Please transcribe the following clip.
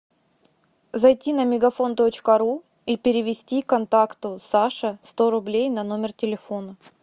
зайти на мегафон точка ру и перевести контакту саша сто рублей на номер телефона